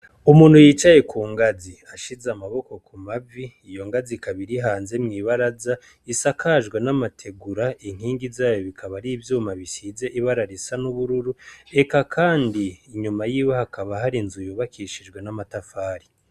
Umuntu yicaye ku ngazi ashize amaboko ku mavi iyo ngazi kabiri hanze mw'ibaraza isakajwe n'amategura inkingi zayo bikaba ari ivyuma bisize ibararo isa n'ubururu, eka kandi inyuma yiwe hakaba hari nzu yubakishijwe n'amatafari.